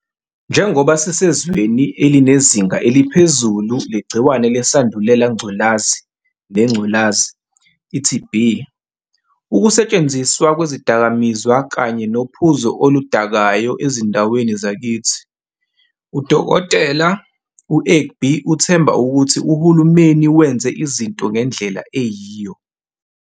Njengoba sisezweni elinezinga eliphezulu legciwane leSandulela Ngculazi, neNgculazi, i-TB, ukusetshenziswa kwezidakamizwa kanye nophuzo oluda-kayo ezindaweni zakithi, u-Dkt. u-Egbe uthemba ukuthi uhulumeni wenze izinto ngendlela eyiyo.